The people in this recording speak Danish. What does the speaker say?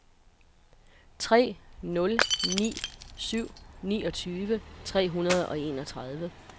tre nul ni syv niogtyve tre hundrede og enogtredive